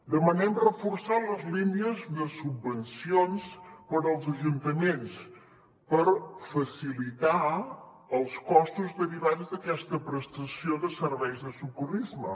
demanem reforçar les línies de subvencions per als ajuntaments per facilitar els costos derivats d’aquesta prestació de serveis de socorrisme